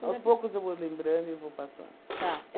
Aos poucos eu vou lembrando e vou passando. Tá.